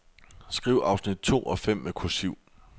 Skriv afsnit to og fem med kursiv.